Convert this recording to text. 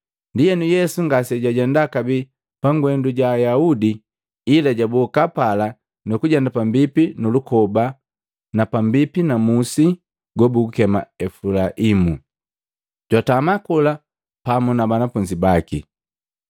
Ndienu Yesu, ngase jwajenda kabee pangwendo ja Ayaudi, ila jwaboka pala, nukujenda pambipi nu lukoba pambipi na musi gobugukema Efulaimu. Jwatama kola pamu na banafunzi baki.